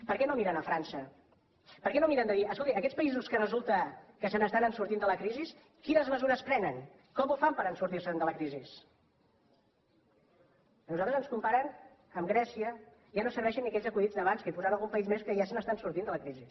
per què no miren a frança per què no miren de dir escolti aquests països que resulta que se n’estan sortint de la crisi quines mesures prenen com ho fan per sortir se’n de la crisi a nosaltres ens comparen amb grècia ja no serveixen ni aquells acudits d’abans que hi posaven algun país més que ja se n’està sortint de la crisi